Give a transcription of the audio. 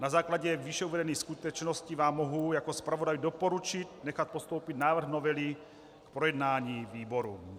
Na základě výše uvedených skutečností vám mohu jako zpravodaj doporučit nechat postoupit návrh novely k projednání výborům.